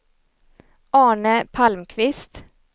Arne Palmqvist